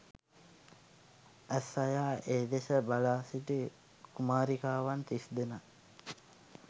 ඇස් අයා ඒ දෙස බලාසිටි කුමාරිකාවන් තිස්දෙනා